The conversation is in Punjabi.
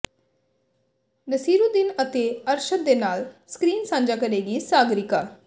ਨਸੀਰੂਦੀਨ ਅਤੇ ਅਰਸ਼ਦ ਦੇ ਨਾਲ ਸਕਰੀਨ ਸਾਂਝਾ ਕਰੇਗੀ ਸਾਗਰਿਕਾ